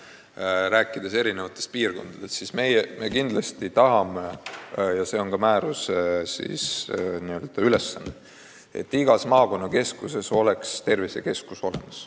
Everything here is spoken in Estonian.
Me räägime eri piirkondadest ja kindlasti tahame – see on ka määruse eesmärk –, et igas maakonnakeskuses oleks tervisekeskus olemas.